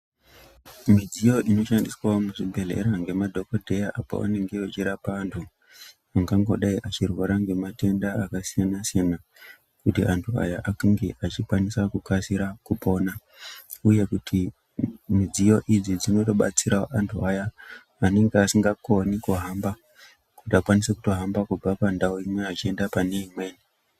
Midziyo inoshandiswa muzvibhedhleya ngemadhokodheya pavanenge vechirapa vantu ungambodai achirwara ngematenda akasiyana-siyana kuti antu aya ange achikasira kupona uye kuti midziyo idzi dzinobatsira antu aya anenge asingakoni kuhamba kuti vakwanise kutohamba kubva pandau imwe vachienda pane imweni .